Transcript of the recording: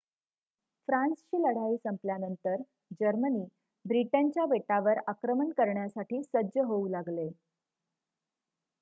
फ्रान्सची लढाई संपल्यानंतर जर्मनी ब्रिटनच्या बेटावर आक्रमण करण्यासाठी सज्ज होऊ लागले